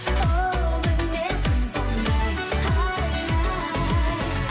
оу мінезім сондай ай ай